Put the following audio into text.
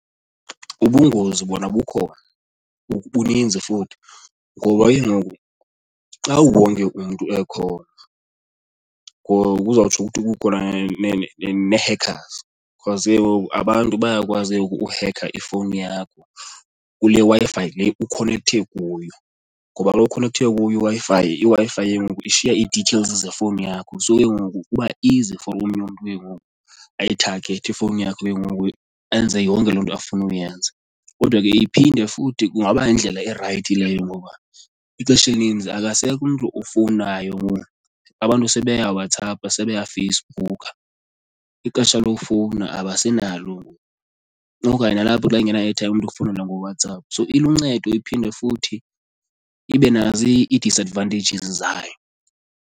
Ubungozi bona bukhona buninzi futhi. Ngoba ke ngoku xa wonke umntu ekhona kuzawutsho ukuthi kukhona nee-hackers because ke ngoku abantu bayakwazi kengoku ukuhekha ifowuni yakho kule Wi-Fi le ukhonekthe kuyo ngoba kaloku ukhonekthe kuyo iWi-Fi, iWi-Fi ke ngoku ishiya i-details zefowuni yakho. So ke ngoku kuba easy for omnye umntu ke ngoku ayithagethe ifowuni yakho ke ngoku enze yonke loo nto afuna uyenza. Kodwa ke iphinde futhi kungaba yindlela erayithi leyo ngoba ixesha elininzi akasekho umntu ofowunayo ngoku abantu sebeyaWhatsApp sebeyaFacebook. Ixesha lokufowuna abasenalo ngoku okanye nalapho xa engena airtime umntu ukufowunela ngoWhatsapp. So iluncedo iphinde futhi ibe nazo ii-disadvantages zayo.